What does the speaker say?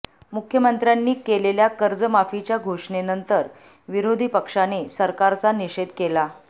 मुख्यमंत्र्यांनी केलेल्या कर्जमाफीच्या घोषणेनंतर विरोधी पक्षाने सरकारचा निषेध केला